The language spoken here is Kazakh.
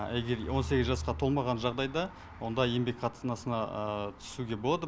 егер он сегіз жасқа толмаған жағдайда онда еңбек қатынасына түсуге болады